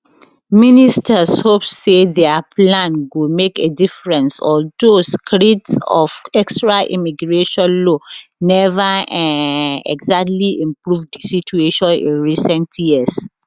ministers hope say dia plans go make a difference although screeds of extra immigration law neva um exactly improve di situation in recent years